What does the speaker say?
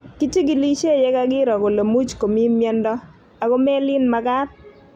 Kichigilishe ye kakiro kole much ko mito miondo, ako melin mag�t